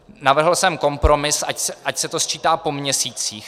Navrhl jsem kompromis, ať se to sčítá po měsících.